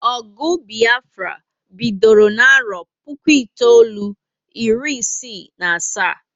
Ogụ Biafra bidoro n'arọ puku itoolu, iri isi na asaa